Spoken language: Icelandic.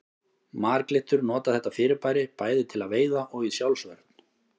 Marglyttur nota þetta fyrirbæri bæði til veiða og í sjálfsvörn.